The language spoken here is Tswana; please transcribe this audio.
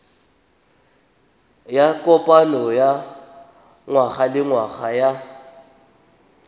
ya kopano ya ngwagalengwaga ya